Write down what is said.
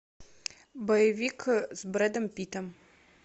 боевик с брэдом питтом